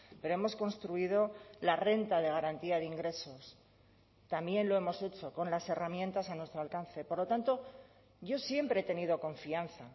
pero hemos construido la renta de garantía de ingresos también lo hemos hecho con las herramientas a nuestro alcance por lo tanto yo siempre he tenido confianza